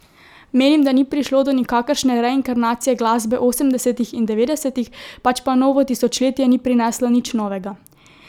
Menim, da ni prišlo do nikakršne reinkarnacije glasbe osemdesetih in devetdesetih, pač pa novo tisočletje ni prineslo nič novega.